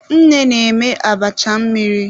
Nne na-eme abacha mmiri.